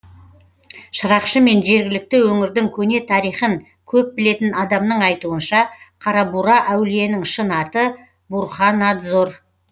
шырақшы мен жергілікті өңірдің көне тарихын көп білетін адамның айтуынша қарабура әулиенің шын аты бурханадзор